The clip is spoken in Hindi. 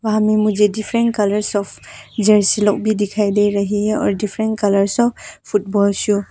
यहां में मुझे डिफरेंट कलर्स ऑफ जर्सी लोग भी दिखाई दे रही है और different colours of football show --